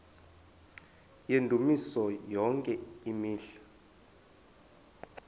yendumiso yonke imihla